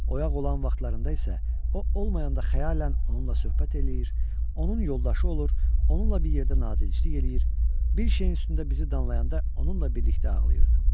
Oyaq olan vaxtlarında isə o olmayanda xəyallə onunla söhbət eləyir, onun yoldaşı olur, onunla bir yerdə nadinclik eləyir, bir şeyin üstündə bizi danlayanda onunla birlikdə ağlayırdım.